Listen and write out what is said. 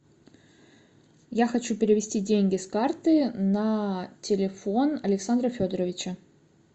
я хочу перевести деньги с карты на телефон александра федоровича